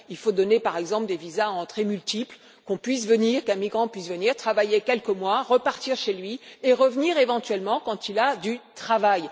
il faut donner, par exemple, des visas à entrées multiples qui permettent à un migrant de venir travailler quelques mois, de repartir chez lui et de revenir éventuellement quand il a du travail.